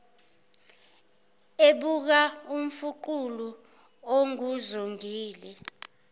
ebuka umfuqulu onguzongile